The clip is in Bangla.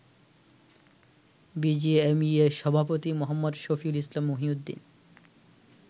বিজিএমইএ সভাপতি মো. সফিউল ইসলাম মহিউদ্দিন